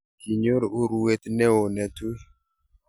kinyo urwet neo ne tui